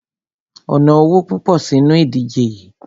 O ná owo púpọ̀ sínu ìdíje yií.